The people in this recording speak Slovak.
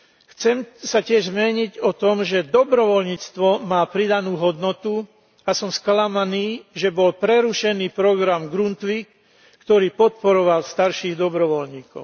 Chcem sa tiež zmieniť o tom, že dobrovoľníctvo má pridanú hodnotu, a som sklamaný, že bol prerušený program Grundtvig, ktorý podporoval starších dobrovoľníkov.